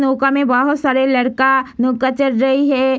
नौका में बहुत सारे लड़का नौका चढ़ रही हैं।